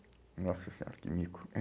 Nossa Senhora, que mico!